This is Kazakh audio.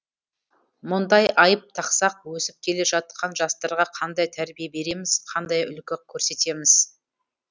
мұндай айып тақсақ өсіп келе жатқан жастарға қандай тәрбие береміз қандай үлгі көрсетеміз